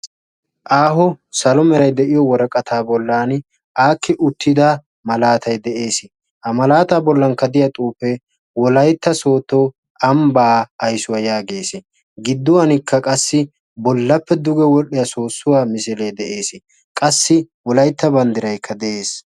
Aaho salo meray de'iyoo woraqataa bollani aakki uttida malaatay de'ees ha malaatta bolaan wolaytta soodo ambbaa aysuwaa yageesi gidduwaanikka qassi bollappe wodhhiyaa soossuwaa misilee de'eesi qassi wolaytta banddiraykka de'eesi